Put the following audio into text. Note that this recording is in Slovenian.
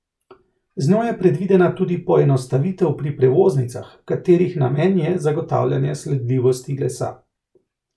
Z njo je predvidena tudi poenostavitev pri prevoznicah, katerih namen je zagotavljanje sledljivosti lesa.